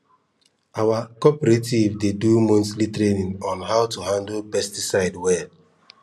our cooperative dey do monthly training on how to handle pesticide well